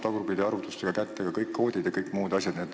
Tagurpidi arvutustega saab kätte kõik koodid ja kõik muud asjad.